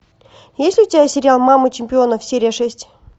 есть ли у тебя сериал мамы чемпионов серия шесть